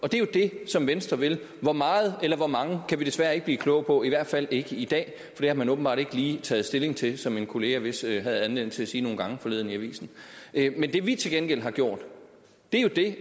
og det er jo det som venstre vil hvor meget eller hvor mange kan vi desværre ikke blive kloge på i hvert fald ikke i dag for har man åbenbart ikke lige taget stilling til som min kollega vist havde anledning til at sige nogle gange forleden i avisen men det vi til gengæld har gjort er jo det